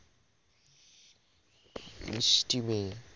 মিস্টি মেয়ে